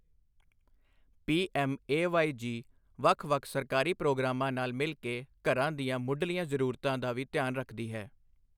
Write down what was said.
PMAY G ਵੱਖ ਵੱਖ ਸਰਕਾਰੀ ਪ੍ਰੋਗਰਾਮਾਂ ਨਾਲ ਮਿਲ ਕੇ ਘਰਾਂ ਦੀਆਂ ਮੁਢਲੀਆਂ ਜ਼ਰੂਰਤਾਂ ਦਾ ਵੀ ਧਿਆਨ ਰੱਖਦੀ ਹੈ।